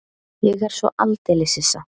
Ég er svo aldeilis hissa.